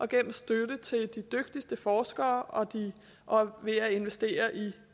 gennem støtte til de dygtigste forskere og ved at investere i